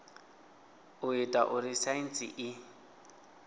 u ita uri saintsi i